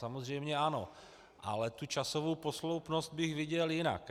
Samozřejmě ano, ale tu časovou posloupnost bych viděl jinak.